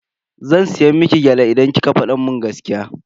Zan siya miki gyale idan kika fada mun gaskiya.